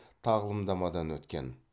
тағылымдамадан өткен